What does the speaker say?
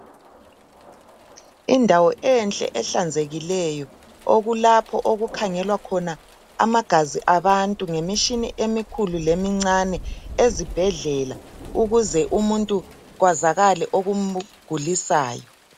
Indawo enhle ehlanzekileyo okulapho okukhangelwa khona amagazi abantu ngemitshina emikhulu lemincane ezibhedlela ukuze umuntu kwazakale okumgulisayo.